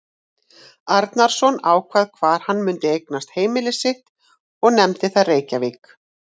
Arnarson, ákvað hvar hann mundi eignast heimili sitt og nefndi það Reykjavík.